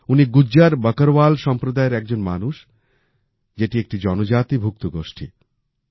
উনি গুজ্জার বকারওয়াল সম্প্রদায়ের একজন মানুষ যেটি একটি জনজাতি ভুক্ত গোষ্ঠী